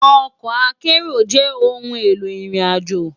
Òkò àkèéró jè óoùn éló irin àjó